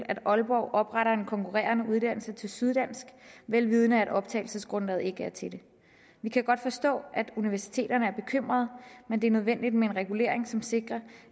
aalborg opretter en konkurrerer med syddansk vel vidende at optagelsesgrundlaget ikke er til det vi kan godt forstå at universiteterne er bekymrede men det er nødvendigt med en regulering som sikrer